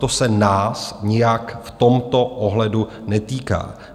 To se nás nijak v tomto ohledu netýká.